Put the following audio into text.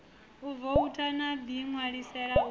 u voutha u ḓiṋwalisela u